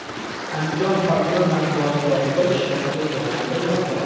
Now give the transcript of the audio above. Andijon hokimi matbuot kotibi ishdan ketgani aytilmoqda.